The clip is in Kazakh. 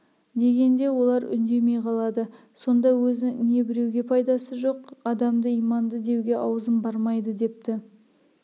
дегенде олар үндемей қалады сонда өзі не біреуге пайдасы жоқ адамды иманды деуге аузым бармайды депті